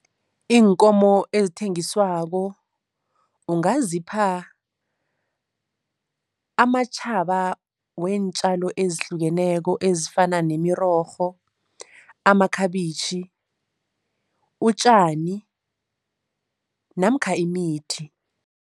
Iinkomo ezithengiswako ungazipha amatjhaba weentjalo ezihlukeneko ezifana nemirorho, amakhabitjhi, utjani namkha imithi.